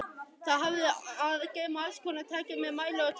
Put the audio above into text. Það hafði að geyma allskonar tæki með mælum og tökkum.